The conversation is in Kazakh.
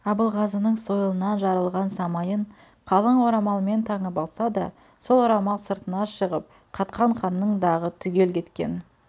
абылғазының сойылынан жарылған самайын қалын орамалмен таңып алса да сол орамал сыртына шығып қатқан қанның дағы түгел кеткен